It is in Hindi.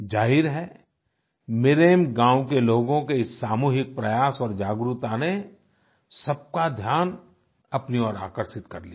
जाहिर है मिरेम गांव के लोगों के इस सामूहिक प्रयास और जागरूकता ने सबका ध्यान अपनी ओर आकर्षित कर लिया